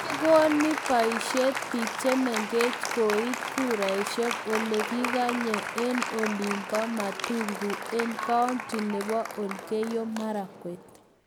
kigoni boishet biik chemengech koit kuraishek olegigayey eng olin bo matungu eng kaunti nebo elgeyo Marakwet